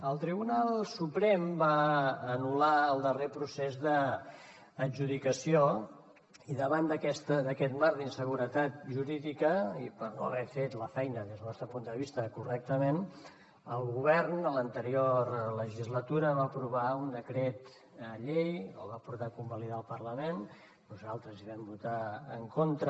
el tribunal suprem va anul·lar el darrer procés d’adjudicació i davant d’aquest marc d’inseguretat jurídica i per no haver fet la feina des del nostre punt de vista correctament el govern a l’anterior legislatura va aprovar un decret llei el va portar a convalidar al parlament nosaltres hi vam votar en contra